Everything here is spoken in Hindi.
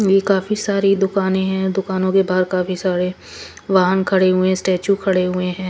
ये काफी सारी दुकानें हैं दुकानों के बाहर काफी सारे वाहन खड़े हुए हैं स्टैचू खड़े हुए हैं।